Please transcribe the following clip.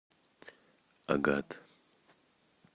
агат